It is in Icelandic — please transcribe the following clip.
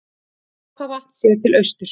Apavatn séð til austurs.